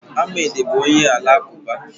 Ahmed bụ onye Alakụba